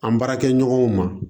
An baarakɛɲɔgɔnw ma